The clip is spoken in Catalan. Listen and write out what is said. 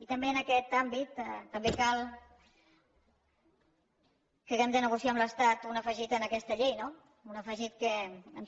i també en aquest àmbit cal que hàgim de negociar amb l’estat un afegit en aquesta llei no un afegit que